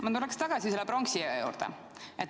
Ma tulen tagasi pronksiöö juurde.